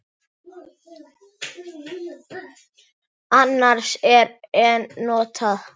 Annars er en notað.